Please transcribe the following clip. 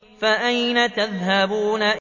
فَأَيْنَ تَذْهَبُونَ